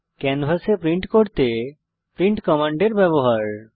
ক্যানভাসে প্রিন্ট করতে প্রিন্ট কমান্ডের ব্যবহার